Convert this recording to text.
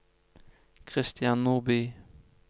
Christian Nordby